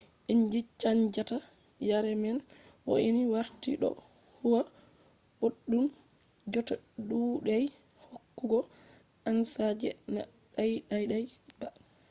inji chanjata yare man wo’ini warti ɗo huwa boɗɗum jotta ɗuɗai hokkugo ansa je na daidai ba